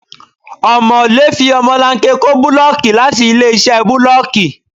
Ọmọ̀lé fi ọmọlanke kó búlọ́ọ́kì láti ilé-iṣẹ́ bulooki.